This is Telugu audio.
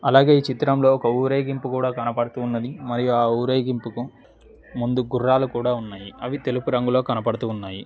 అలాగే ఈ చిత్రంలో ఒక ఊరేగింపు కూడా కనబడుతూ ఉన్నది మరియు ఊరేగింపుకు ముందు గుర్రాలు కూడా ఉన్నయి. అవి తెలుపు రంగులో కనబడుతూ ఉన్నయి.